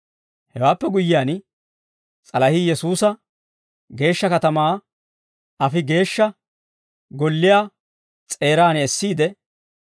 Hewaappe guyyiyaan, s'alahii Yesuusa geeshsha katamaa afi Geeshsha Golliyaa s'eeraan essiide,